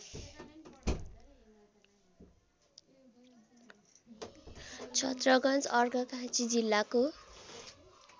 छत्रगन्ज अर्घाखाँची जिल्लाको